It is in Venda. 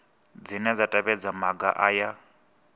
dzine dza tevhedza maga aya